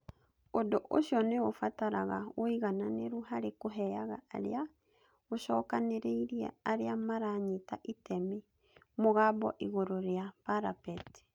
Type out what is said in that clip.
Ũndũ ũcio nĩ ũbataraga ũigananĩru harĩ kũheaga arĩa gũcokanĩrĩria arĩa maranyita itemi 'Mũgambo' igũrũ ria parapet.